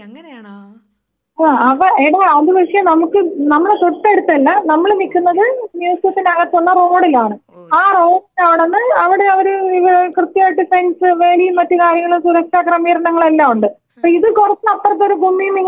ആ അതാ എടാ അതു പക്ഷേ നമുക്ക് നമ്മുടെ തൊട്ടടുത്തല്ല നമ്മള് നിൽക്കുന്നത് മ്യൂസിയത്തിന്റെ അകത്തുള്ള റോഡിലാണ് ആ റോഡില്‍ ആണെന്ന് അവിടെ അവരെ ഇത് കൃത്യമായിട്ട് ഫെന്‍സും വേലിയും മറ്റു കാര്യങ്ങളൊക്കെ സുരക്ഷാക്രമീകരണങ്ങളെല്ലാമുണ്ട് ഇപ്പിത് കൊറച്ചപ്പുറത്തൊരു *നോട്ട്‌ ക്ലിയർ* ന്നിങ്ങനെ വരണ പോലെ നമുക്കു തോന്നും.